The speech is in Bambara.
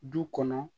Du kɔnɔ